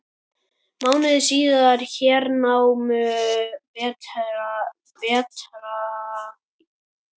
Mánuði síðar hernámu Bretar Ísland.